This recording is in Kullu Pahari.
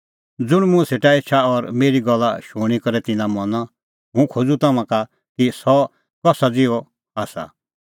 ज़ुंण मुंह सेटा एछा और मेरी गल्ला शूणीं करै तिन्नां मना हुंह खोज़ूं तम्हां का कि सह कसा ज़िहअ आसा